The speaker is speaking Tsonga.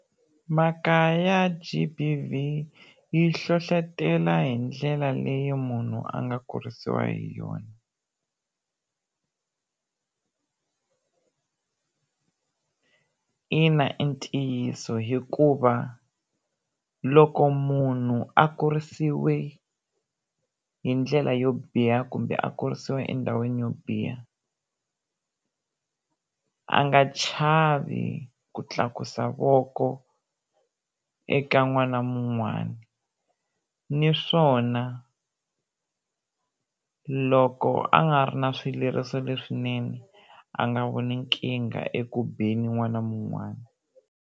Mhaka ya G_B_V yi hlohlotela hi ndlela leyi munhu a nga kurisiwa hi yona ina i ntiyiso hikuva loko munhu a kurisiwe hi ndlela yo biha kumbe a kurisiwa endhawini yo biha, a nga chavi ku tlakusa voko eka n'wana mun'wani naswona loko a nga ri na swileriso leswinene a nga voni nkingha eku beni n'wana mun'wani.